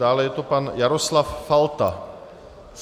Dále je to pan Jaroslav Falta.